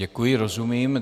Děkuji, rozumím.